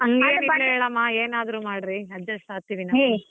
ಇಲ್ಲ ಹೇಳಮ್ಮ ಏನಾದ್ರು ಮಾಡ್ರಿ adjust ಆಗ್ತಿವಿ ನಾವು.